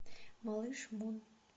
малыш мун